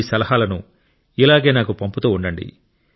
మీ సలహాలను ఇలాగే నాకు పంపుతూ ఉండండి